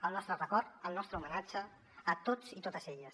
el nostre record el nostre homenatge a tots i totes elles